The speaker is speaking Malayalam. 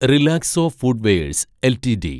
Relaxo footwears LTD